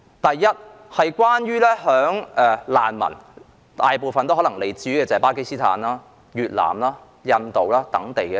大部分難民可能來自巴基斯坦、越南、印度等地。